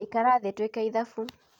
ikara thĩ twĩke ithabu